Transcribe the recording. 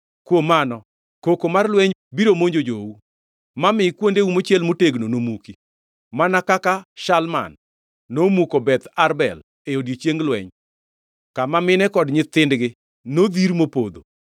kuom mano koko mar lweny biro monjo jou, ma mi kuondeu mochiel motegno nomuki, mana kaka Shalman nomuko Beth Arbel e odiechieng lweny, kama mine kod nyithindgi nodhir mopodho.